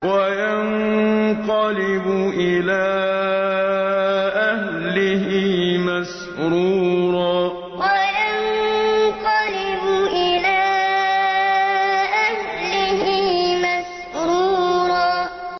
وَيَنقَلِبُ إِلَىٰ أَهْلِهِ مَسْرُورًا وَيَنقَلِبُ إِلَىٰ أَهْلِهِ مَسْرُورًا